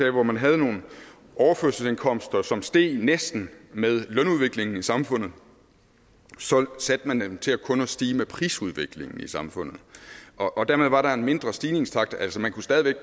at hvor man havde nogle overførselsindkomster som steg næsten med lønudviklingen i samfundet så satte man dem til kun at stige med prisudviklingen i samfundet dermed var der en mindre stigningstakt altså man kunne stadig væk